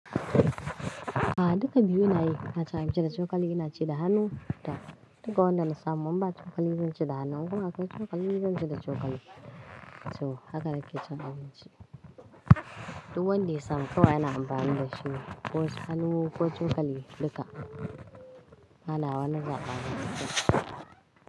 A duka biyu inayi. Hata an ci da cokali ina ci da hannu. Da duka wannan samun ba cokali zan ci da hannun kuma akwai cokali zan ci da cokali. So haka nake can abinci. Duk wanda ya samu kawai yana amfani da shi. Ko hannu ko cokali duka. Bana wani zaɓen hatsi gaskiya.